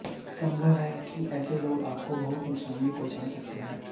संभव है कि ऐसे लोग आपको बहुत नुकसान भी पहुंचा सकते हैं